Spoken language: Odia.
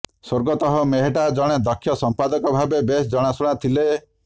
ସ୍ୱର୍ଗତଃ ମେହେଟ୍ଟା ଜଣେ ଦକ୍ଷ ସଂପାଦକ ଭାବେ ବେଶ ଜଣାଶୁଣା ଥିଲେ